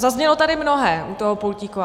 Zaznělo tady mnohé u toho pultíku.